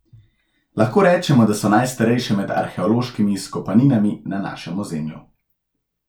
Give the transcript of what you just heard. Lahko rečemo, da so najstarejše med arheološkimi izkopaninami na našem ozemlju.